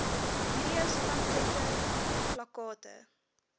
videos pamflette plakkate